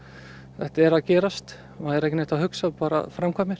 þetta er að gerast og er ekki neitt að hugsa bara framkvæmir